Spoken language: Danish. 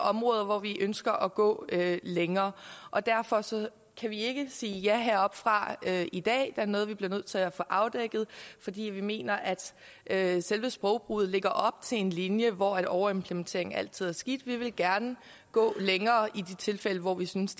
områder hvor vi ønsker at gå længere og derfor kan vi ikke sige ja heroppefra i dag der er noget vi bliver nødt til at få afdækket fordi vi mener at at selve sprogbruget lægger op til en linje hvor overimplementering altid er skidt vi vil gerne gå længere i de tilfælde hvor vi synes